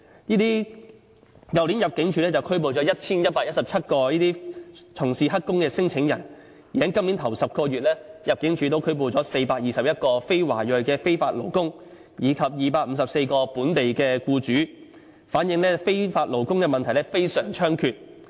去年入境處拘捕了 1,117 名這類從事黑工的聲請人，而在今年首10個月，入境處拘捕了421名非華裔非法勞工，以及254名本地僱主，反映非法勞工問題非常猖獗。